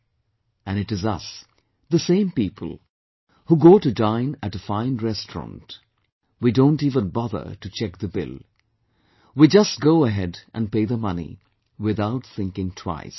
" And it is us, the same people, who go to dine at a fine restaurant, we don't even bother to check the bill, we just go ahead and pay the money, without thinking twice